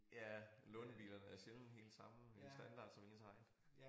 Ja lånebilerne er sjældent helt samme standard som ens egen